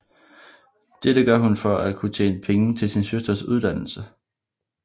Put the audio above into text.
Dette gør hun for at kunne tjene penge til sin søsters uddannelse